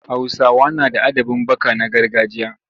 Hausawa na da adabin baka na gargajiya.